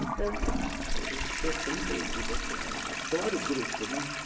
Então, a, isso que eu sempre digo, assim a, adoro grupo, né?